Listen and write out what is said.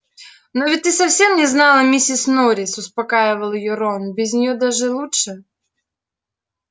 но ведь ты совсем не знала миссис норрис успокаивал её рон без неё даже лучше